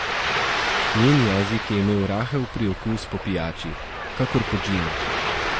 Njen jezik je imel rahel priokus po pijači, kakor po džinu.